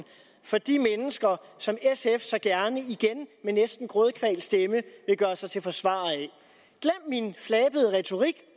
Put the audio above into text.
fra de mennesker som sf så gerne igen med næsten grådkvalt stemme vil gøre sig til forsvarer af glem min flabede retorik